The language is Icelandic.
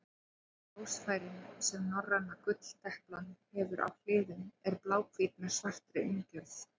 Ljósfærin sem norræna gulldeplan hefur á hliðum eru bláhvít með svartri umgjörð.